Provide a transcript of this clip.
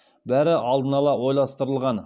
бәрі алдын ала ойластырылған